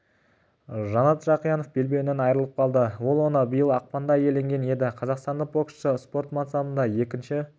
жанат жақиянов белбеуінен айырылып қалды ол оны биыл ақпанда иеленген еді қазақстандық боксшы спорт мансабында екінші